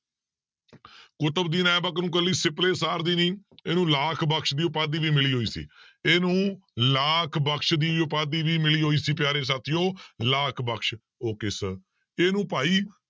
ਕੁਤਬਦੀਨ ਐਬਕ ਨੂੰ ਇਕੱਲੀ ਸਿਪਲੇ ਸਾਰ ਦੀ ਨੀ ਇਹਨੂੰ ਲਾਖ ਬਕਸ ਦੀ ਉਪਾਧੀ ਵੀ ਮਿਲੀ ਹੋਈ ਸੀ ਇਹਨੂੰ ਲਾਖ ਬਕਸ ਦੀ ਉਪਾਧੀ ਵੀ ਮਿਲੀ ਹੋਈ ਸੀ ਪਿਆਰੇ ਸਾਥੀਓ ਲਾਖ ਬਕਸ okay sir ਇਹਨੂੰ ਭਾਈ